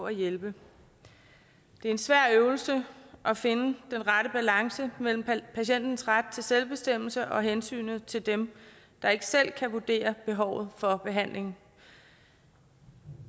at hjælpe det er en svær øvelse at finde den rette balance mellem patientens ret til selvbestemmelse og hensynet til dem der ikke selv kan vurdere behovet for behandling